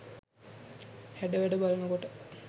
හැඩවැඩ බලන කොට